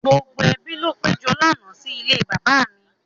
Gbogbo ẹbi ló péjọ lánàá sí ilé bàbá mi.